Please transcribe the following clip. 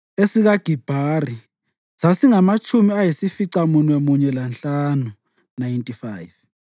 esikaGibhari sasingamatshumi ayisificamunwemunye lanhlanu (95),